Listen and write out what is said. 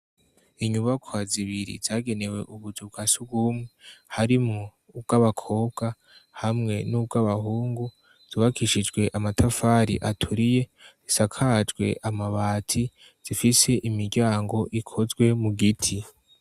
Inyubakwa zibiri zagenewe ubuzauwa si ubumwe harimwo ubw' abakobwa hamwe n'ubwo abahungu zubakishijwe amatafari aturiye zisakajwe amabati zifise imiryango ikozwe mu giti.